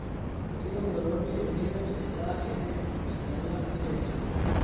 Enkiremore ontimi keret aitaa kitii enkinyala enterit.